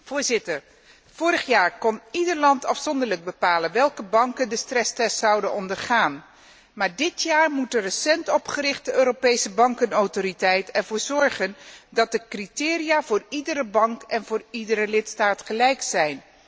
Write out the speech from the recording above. Voorzitter, vorige jaar kon ieder land afzonderlijk bepalen welke banken de stresstest zouden ondergaan, maar dit jaar moet de recent opgerichte Europese bankenautoriteit ervoor zorgen dat de criteria voor iedere bank en voor iedere lidstaat gelijk zijn.